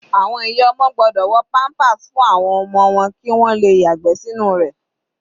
Àwọn ìyá ọmọ gbọ́dọ̀ wọ pampers fún àwọn ọmọ wọn kí wọn le yàgbẹ́ sínú rẹ̀.